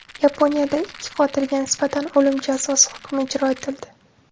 Yaponiyada ikki qotilga nisbatan o‘lim jazosi hukmi ijro etildi.